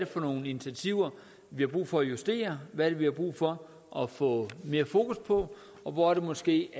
for nogle initiativer vi har brug for at justere hvad det er vi har brug for at få mere fokus på og hvor det måske